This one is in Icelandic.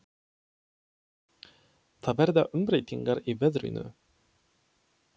Það verða umbreytingar í veðrinu.